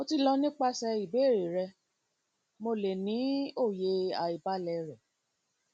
mo ti lọ nipasẹ ibeere rẹ mo le ni oye aibalẹ rẹ